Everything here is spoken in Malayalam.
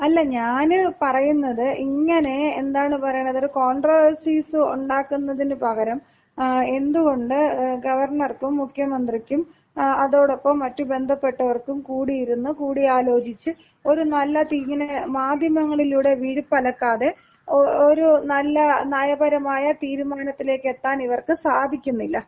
അല്ല ഞാന് പറയുന്നത് ഇങ്ങനെ എന്താണ് പറയണത് ഒരു കോൺട്രാവാഴ്സീസ് ഉണ്ടാക്കുന്നതിന് പകരം എന്തുകൊണ്ട് ഗവർണർക്കും മുഖ്യമന്ത്രിക്കും അതോടൊപ്പം മറ്റ് ബന്ധപ്പെട്ടവർക്കും കൂടിയിരുന്ന് കൂടിയാലോചിച്ച് ഒരു നല്ല തീരുമാനം മാധ്യമങ്ങളിലൂടെ വിഴുപ്പലക്കാതെ, ഒരു നല്ല നയപരമായ തീരുമാനത്തിലേക്ക് എത്താൻ ഇവർക്ക് സാധിക്കുന്നില്ല.